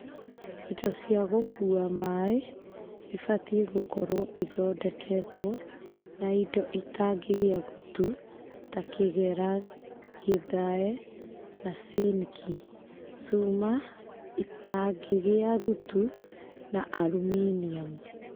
Indo cia gũkuua maaĩ ibatiĩ gũkorwo ithondeketwo na indo itangĩgĩa gutu ta kĩgera gĩthae na ciniki, cuma ĩtangĩgĩa gutu na aruminiamu.